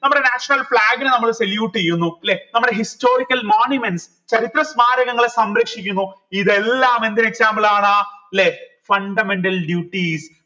നമ്മളെ national flag നെ നമ്മൾ salute എയുന്നു ല്ലെ നമ്മടെ historical monuments ചരിത്ര സ്മാരകങ്ങളെ സംരക്ഷിക്കുന്നു ഇതെല്ലാം എന്തിന് example ആണ് ല്ലേ fundamental duties